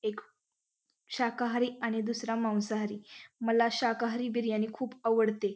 एक शाकाहारी आणि दूसरा मांसाहारी मला शाकाहारी बिर्याणी खूप आवडते.